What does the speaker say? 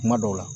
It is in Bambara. Kuma dɔw la